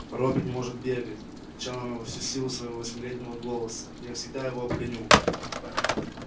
робби не может бегать кричала она во всю силу своего восьмилетнего голоса я всегда его обгоню